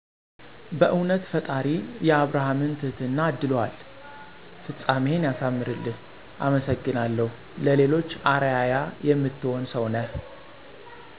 "በእዉነት ፈጣሪ የአብርሃምን ትህትና አድሎሀል!! ፍፃሜህን ያሳምርልህ አመሰግናለሁ ለሌሎች አረአያ የምትሆን ሰዉ ነህ" ።